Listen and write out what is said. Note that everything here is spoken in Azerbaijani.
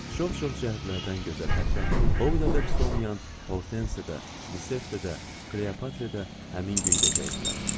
Çox-çox cəhətlərdən gözəl, hətta o qədər də pis olmayan Hortense də, Lisette də, Kleopatra da həmin gün gecə idilər.